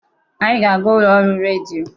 Anyị ga-aga ụlọ ọrụ redio.